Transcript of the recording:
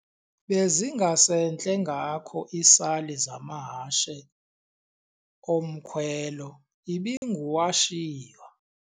Bezingasentle ngako iisali zamahashe omkhwelo ibinguwashiywa.